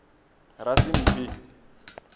rasimphi